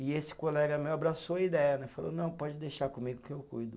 E esse colega meu abraçou a ideia né, falou, não, pode deixar comigo que eu cuido.